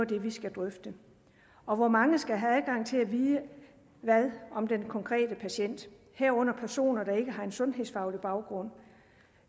det vi skal drøfte og hvor mange skal have adgang til at vide hvad om den konkrete patient herunder personer der ikke har en sundhedsfaglig baggrund